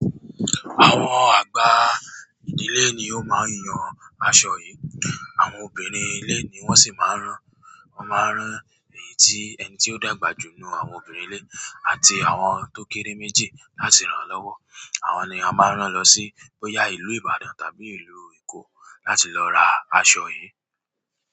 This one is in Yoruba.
Àwọn àgbà ìdílé ni ó máa ń yan aṣọ yìí. Àwọn obìnrin ilé ni wón sì máa ń rán. Wọ́n máa ń rán èyí tí ẹni tí ó dàgbà jù nínú àwọn obìnrin ilé àti àwọn tó kéré méjì láti ràn an lọ́wọ́. Àwọn ni a máa ń rán lọ sí bóyá ìlú Ìbàdàn tàbí ìlú Èkó láti lọ ra aṣọ yìí.